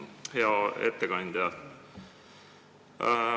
Hea ettekandja!